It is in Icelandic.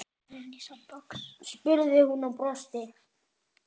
spurði hún og brosti.